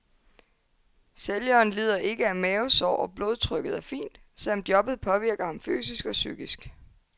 Sælgeren lider ikke af mavesår og blodtrykket er fint, selv om jobbet påvirker ham fysisk og psykisk.